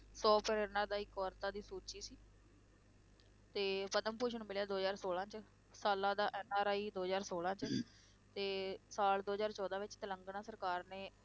ਸੌ ਪ੍ਰੇਰਨਾਦਾਇਕ ਔਰਤਾਂ ਦੀ ਸੂਚੀ ਸੀ ਤੇ ਪਦਮ ਭੂਸ਼ਣ ਮਿਲਿਆ ਦੋ ਹਜ਼ਾਰ ਸੋਲਾਂ 'ਚ, ਸਾਲਾਂ ਦਾ NRI ਦੋ ਹਜ਼ਾਰ ਸੋਲਾਂ 'ਚ ਤੇ ਸਾਲ ਚੌਦਾਂ ਵਿੱਚ, ਤੇਲੰਗਾਨਾ ਸਰਕਾਰ ਨੇ